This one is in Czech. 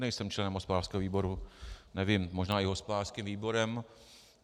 Nejsem členem hospodářského výboru, nevím, možná i hospodářským výborem.